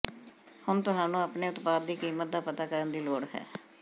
ਹੁਣ ਤੁਹਾਨੂੰ ਆਪਣੇ ਉਤਪਾਦ ਦੀ ਕੀਮਤ ਦਾ ਪਤਾ ਕਰਨ ਦੀ ਲੋੜ ਹੈ